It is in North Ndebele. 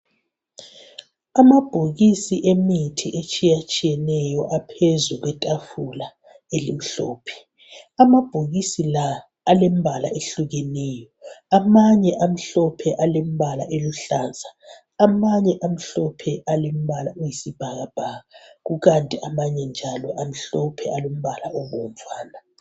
Amabhokisi emithi etshiya tshiyeneyo aphezu kwetafula elimhlophe amabhokisi la alemibala ehlukeneyo amanye amhlophe alembala eluhlaza amanye amhlophe alembala eyisibhakabhaka kukanti amanye njalo amhlophe alombala obomvana.